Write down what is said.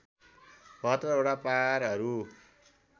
७२ वटा पारहरू